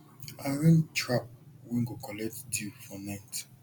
arrange trap wey go collect dew for night